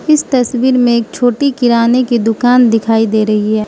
इस तस्वीर में एक छोटी किराने की दुकान दिखाई दे रही है।